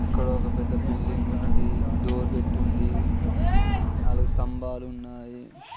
ఇక్కడ ఒక పెద్ద బిల్డింగ్ ఉన్నది. డోర్ పెట్టి ఉంది. నాలుగు స్తంబాలు సన్నాయి .